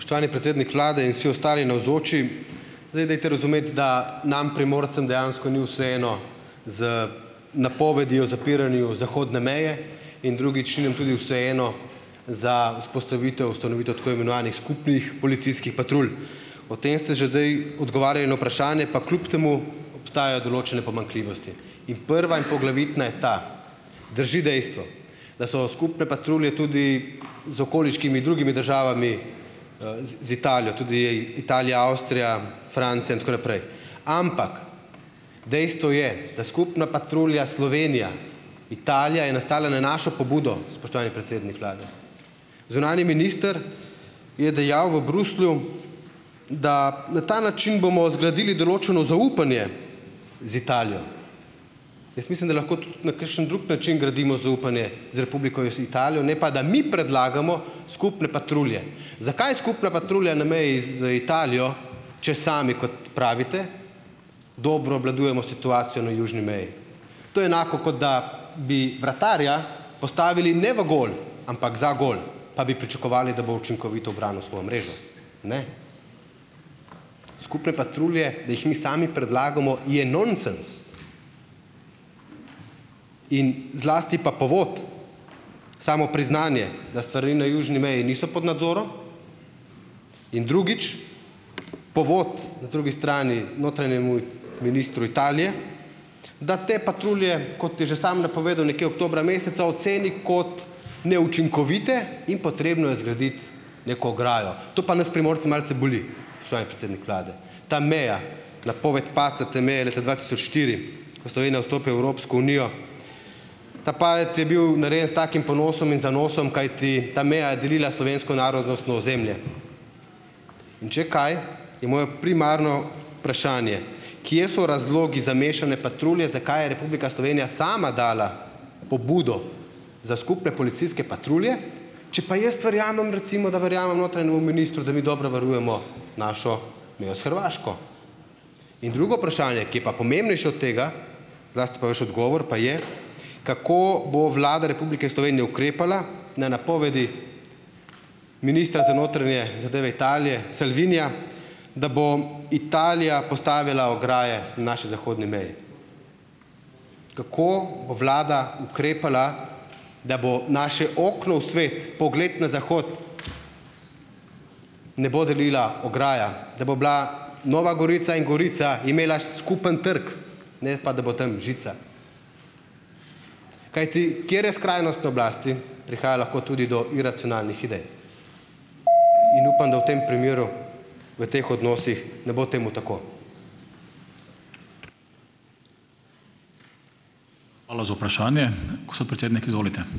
Spoštovani predsednik vlade in vsi ostali navzoči! Zdaj, dajte razumeti, da nam, Primorcem, dejansko ni vseeno za napovedi o zapiranju zahodne meje in drugič ni nam tudi vseeno za vzpostavitev, ustanovitev tako imenovanih skupnih policijskih patrulj. O tem ste že zdaj odgovarjali na vprašanje, pa kljub temu, obstajajo določene pomanjkljivosti. In prva in poglavitna je ta, drži dejstvo, da so skupne patrulje tudi z okoliškimi drugimi državami, z z Italijo, tudi Italija, Avstrija, Francija in tako naprej, ampak dejstvo je, da skupna patrulja Slovenija- Italija je nastala na našo pobudo, spoštovani predsednik vlade. Zunanji minister je dejal v Bruslju, da na ta način bomo zgradili določeno zaupanje z Italijo. Jaz mislim, da lahko tudi na kakšen drug način gradimo zaupanje z Republiko Italijo, ne pa da mi predlagamo skupne patrulje. Zakaj je skupna patrulja na meji z Italijo, če sami, kot pravite, dobro obvladujemo situacijo na južni meji. To je enako, kot da bi vratarja postavili ne v gol, ampak za gol, pa bi pričakovali, da bo učinkovito branil svojo mrežo. Ne? Skupne patrulje, da jih mi sami predlagamo, je nonsens. In zlasti pa povod, samo priznanje, da stvari na južni meji niso pod nadzorom. In drugič, povod na drugi strani notranjemu ministru Italije, da te patrulje, kot je že samo napovedal, nekje oktobra meseca oceni kot neučinkovite in potrebno je zgraditi neko ograjo. To pa nas, Primorce, malce boli, spoštovani predsednik vlade, ta meja. Napoved padca te meje leta dva tisoč štiri, ko Slovenija vstopi v Evropsko unijo, ta padec je bil narejen s takim ponosom in zanosom, kajti ta meja je delila slovensko narodnostno ozemlje. In če kaj, je moje primarno vprašanje: Kje so razlogi za mešane patrulje? Zakaj je Republika Slovenija sama dala pobudo za skupne policijske patrulje, če pa jaz verjamem, recimo, da verjamem notranjemu ministru, da mi dobro varujemo našo mejo s Hrvaško. In drugo vprašanje, ki je pa pomembnejše od tega, zlasti pa vaš odgovor, pa je: Kako bo Vlada Republike Slovenije ukrepala na napovedi ministra za notranje zadeve Italije Salvinija, da bo Italija postavila ograje na naši zahodni meji? Kako bo vlada ukrepala, da bo naše okno v svet, pogled na zahod, ne bo delila ograja, da bo bila Nova Gorica in Gorica imela skupni trg, ne pa da bo tam žica. Kajti, ker je skrajnosti na oblasti, prihaja lahko tudi do iracionalnih idej, in upam, da v tem primeru, v teh odnosih, ne bo temu tako.